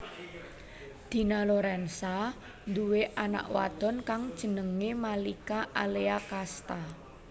Dina Lorenza nduwé anak wadon kang jenengé Malika Alea Casta